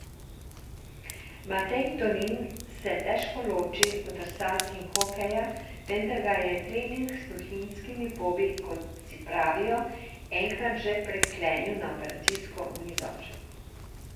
Matej Tonin se težko loči od drsalk in hokeja, vendar ga je trening s Tuhinjskimi pobi, kot si pravijo, enkrat že priklenil na operacijsko mizo.